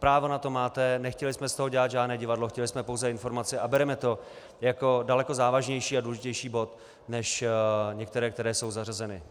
Právo na to máte, nechtěli jsme z toho dělat žádné divadlo, chtěli jsme pouze informaci a bereme to jako daleko závažnější a důležitější bod než některé, které jsou zařazeny.